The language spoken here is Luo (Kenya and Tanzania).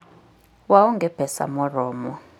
Waonge pesa moromo.